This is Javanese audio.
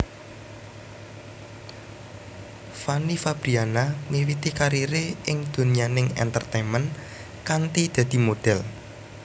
Fanny Fabriana miwiti karire ing donyaning entertainment kanthi dadi modhél